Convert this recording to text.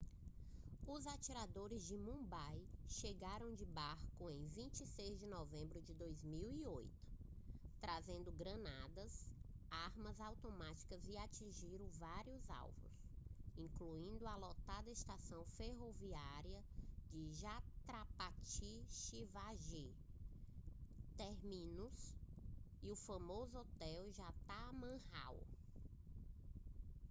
os atiradores de mumbai chegaram de barco em 26 de novembro de 2008 trazendo granadas armas automáticas e atingiram vários alvos incluindo a lotada estação ferroviária chhatrapati shivaji terminus e o famoso hotel taj mahal